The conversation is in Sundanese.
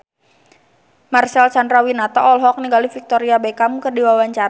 Marcel Chandrawinata olohok ningali Victoria Beckham keur diwawancara